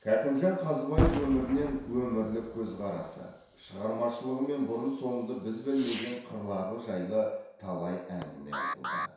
кәкімжан қазыбаев өмірінен өмірлік көзқарасы шығармашылығы мен бұрын соңды біз білмеген қырлары жайлы талай әңгіме айтылды